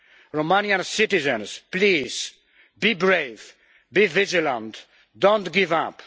Romanian citizens, please, be brave, be vigilant don't give up.